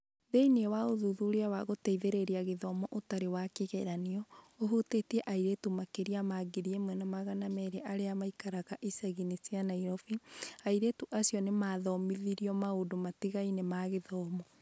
Thĩinĩ wa ũthuthuria wa gũteithĩrĩria gĩthomo ũtarĩ wa kĩgeranio, ũhutĩtie airĩtu makĩria ma 1,200 arĩa maikaraga icagi-inĩ igĩrĩ cia Nairobi, airĩtu acio nĩ maathomithirio maũndũ matiganĩte ma gĩthomo.